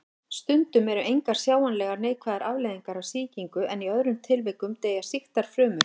Stundum eru engar sjáanlegar neikvæðar afleiðingar af sýkingu en í öðrum tilvikum deyja sýktar frumur.